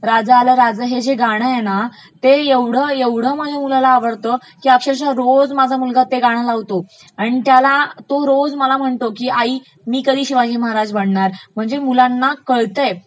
राजं आलं राजं आल गाण आहे ना ते ऐवढं माझ्या मुलाला आवडतं का अक्षरशः रोज माझा मुलगा ते गाणं लावतो आणि त्याला आणि तो रोज मला म्हणतो का आई मी कधी शिवाजी महाराज बनणार, म्हणजे मुलांना कळतयं